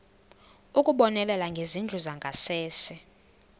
ukubonelela ngezindlu zangasese